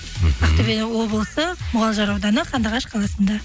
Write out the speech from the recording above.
мхм ақтөбе облысы мұғалжар ауданы қандыағаш қаласында